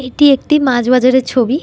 এটি একটি মাছ বাজার এর ছবি--